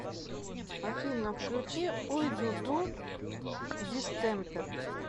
афина включи ой ду ду дистемпер